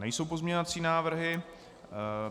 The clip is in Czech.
Nejsou pozměňovací návrhy.